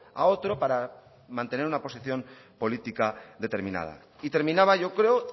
a otro para mantener una posición política determinada y terminaba yo creo